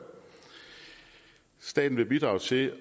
staten vil bidrage til